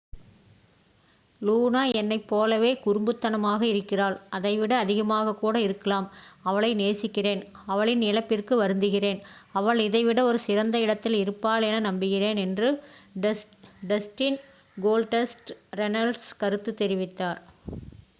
"""லூனா என்னைப் போலவே குறும்பு தனமாக இருக்கிறாள்... அதை விட அதிகமாக கூட இருக்கலாம்...""அவளை நேசிக்கிறேன் அவளின் இழப்பிற்கு வருந்துகிறேன்... அவள் இதை விட ஒரு சிறந்த இடத்தில் இருப்பாள் என நம்புகிறேன் என்று டஸ்டின் "கோல்டஸ்ட" ரென்னல்ஸ் கருத்து தெரிவித்தார்.